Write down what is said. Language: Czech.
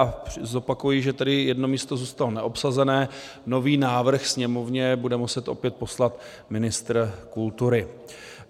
A zopakuji, že tedy jedno místo zůstalo neobsazené, nový návrh Sněmovně bude muset opět poslat ministr kultury.